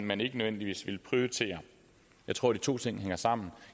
man ikke nødvendigvis vil prioritere jeg tror de to ting hænger sammen